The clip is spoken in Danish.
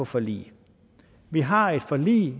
forlig vi har et forlig